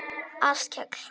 Áskell